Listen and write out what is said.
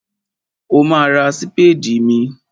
Ó ma ra sípédì míì.